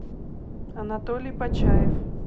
анатолий почаев